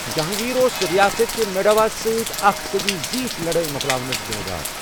جہانٛگیٖر اوس رِیاست میواڈس سۭتۍ اَکھ صٔدی زیٖٹھ لَڑٲیہِ مۄکلاونس ذِمدار۔